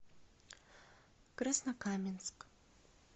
краснокаменск